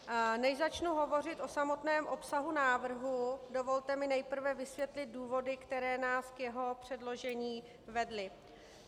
Než začnu hovořit o samotném obsahu návrhu, dovolte mi nejprve vysvětlit důvody, které nás k jeho předložení vedly.